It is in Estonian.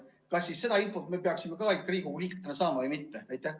Kas siis seda infot me peaksime ka Riigikogu liikmetena saama või mitte?